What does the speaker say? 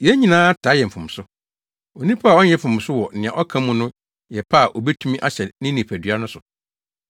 Yɛn nyinaa taa yɛ mfomso. Onipa a ɔnyɛ mfomso wɔ nea ɔka mu no yɛ pɛ a obetumi ahyɛ ne nipadua no so.